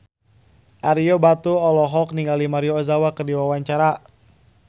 Ario Batu olohok ningali Maria Ozawa keur diwawancara